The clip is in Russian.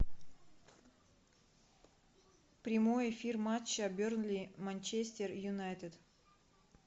прямой эфир матча бернли манчестер юнайтед